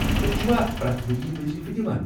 تُہۍ چھِوا پریتھ ؤرِیہ وضیفہٕ دِوان ؟